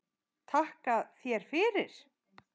Takka þér fyrir